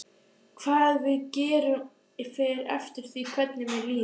Hvað við gerum fer eftir því hvernig mér líður.